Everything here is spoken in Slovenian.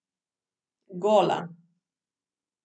Gola.